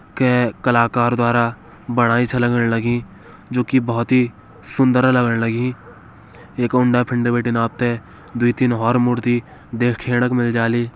कै कलाकार द्वारा बणाईं छ लगण लगीं जो की बोहोत ही सुंदरा लगण लघी। एका उंडा फिंड बटिन आपते दुई तीन हौर मूर्ति देखेणक मिल जाली।